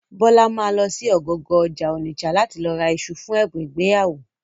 Bọ́lá ma lọ sí ọ̀gangan ọjà Ònìṣà láti lọ ra iṣu fún ẹ̀bùn ìgbéyàwó.